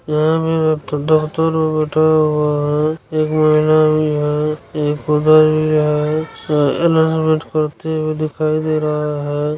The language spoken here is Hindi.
यह बैठा हुआ है एक महिला भी है एक उधर भी है अनाउंसमेंट करते हुए दिखा